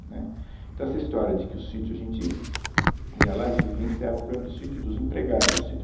Né, Então essa história de que o sítio, a gente ia lá e vivenciava o problema do sítio dos empregados do sítio.